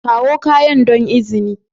Kawo kayan don izini